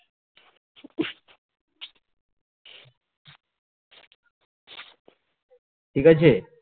ঠিকাছে